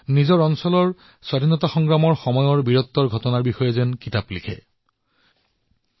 নিজৰ এলেকাৰ স্বতন্ত্ৰতা সংগ্ৰামৰ সময়ৰ বীৰত্বৰ সৈতে জড়িত গাঁথাসমূহৰ বিষয়ে কিতাপ লিখিব পাৰে